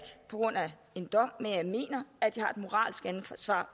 på grund af en dom men jeg mener at de har et moralsk ansvar